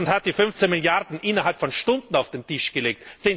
Und Russland hat die 15 Milliarden innerhalb von Stunden auf den Tisch gelegt.